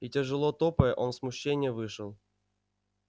и тяжело топая он в смущении вышел